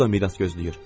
O da miras gözləyir.